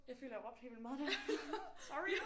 Jeg føler jeg råbte helt vildt meget der sorry